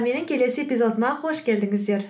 менің келесі эпизодыма қош келдіңіздер